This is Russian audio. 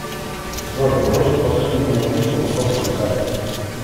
джой бросить последнему звонившему сотку на карту